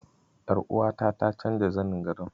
Ƴaruwata ta canza zanin gadon.